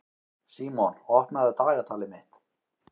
Símon, opnaðu dagatalið mitt.